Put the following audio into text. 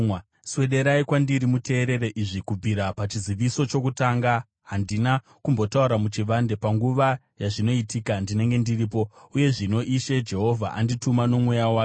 “Swederai kwandiri muteerere izvi: “Kubvira pachiziviso chokutanga handina kumbotaura muchivande; panguva yazvinoitika, ndinenge ndiripo.” Uye zvino Ishe Jehovha andituma noMweya wake.